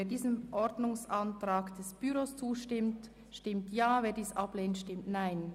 Wer den Ordnungsantrag 1 von Grossrat Ruchti annimmt, stimmt Ja, wer diesen ablehnt, stimmt Nein.